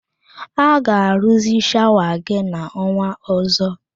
Ha ga-arụzi shawa gị n'ọnwa ọzọ